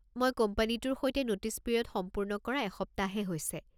মই কোম্পানীটোৰ সৈতে নোটিছ পিৰিয়ড সম্পূৰ্ণ কৰা এসপ্তাহহে হৈছে।